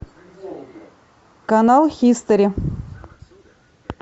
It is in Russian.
канал хистори